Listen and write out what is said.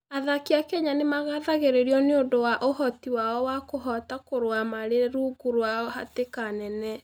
Athaki a Kenya nĩ magathĩrĩirio nĩ ũndũ wa ũhoti wao wa kũhota kũrũa marĩ rungu rwa hatĩka nene.